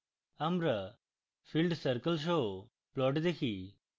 আমরা filled circle সহ plot দেখি